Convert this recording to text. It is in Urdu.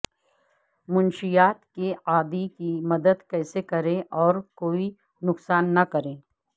منشیات کے عادی کی مدد کیسے کریں اور کوئی نقصان نہ کریں